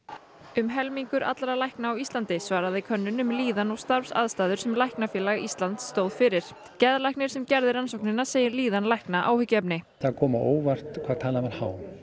um helmingur allra lækna á Íslandi svaraði könnun um líðan og starfsaðstæður sem Læknafélag Íslands stóð fyrir geðlæknir sem gerði rannsóknina segir líðan lækna áhyggjuefni það kom á óvart hvað talan er há